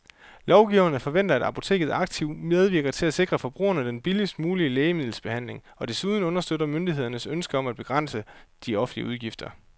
Lovgiverne forventer, at apoteket aktivt medvirker til at sikre forbrugerne den billigst mulige lægemiddelbehandling og desuden understøtter myndighedernes ønske om at begrænse de offentlige udgifter.